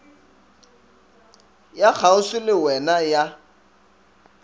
ya kgauswi le wena ya